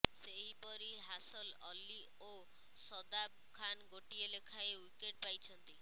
ସେହିପରି ହାସଲ ଅଲ୍ଲୀ ଓ ଶଦାବ ଖାନ୍ ଗୋଟିଏ ଲେଖାଏ ୱିକେଟ୍ ପାଇଛନ୍ତି